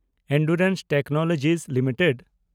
Endurance technology limited